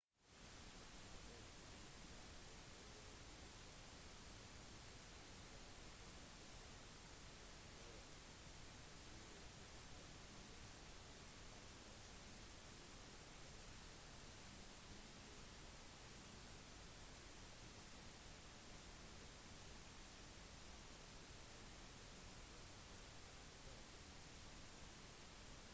da det ble klart at det var mange familier som søkte rettshjelp for å kjempe mot utkastelsene ble det den 20. mars holdt et møte på østbay community law center for de som var offer for boligsvindelen